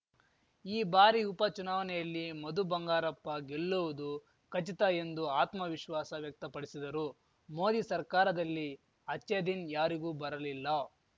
ಈ ಬಾರಿ ಉಪಚುನಾವನೆಯಲ್ಲಿ ಮಧು ಬಂಗಾರಪ್ಪ ಗೆಲ್ಲುವುದು ಖಚಿತ ಎಂದು ಆತ್ಮ ವಿಶ್ವಾಸ ವ್ಯಕ್ತಪಡಿಸಿದರು ಮೋದಿ ಸರ್ಕಾರದಲ್ಲಿ ಅಚ್ಚೇದಿನ್‌ ಯಾರಿಗೂ ಬರಲಿಲ್ಲ